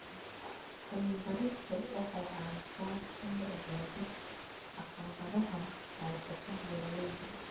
Cilmi-baaristu waxay caawisaa in la ogaado caqabadaha haysta beeralayda.